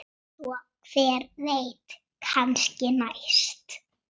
Svo hver veit, kannski næst?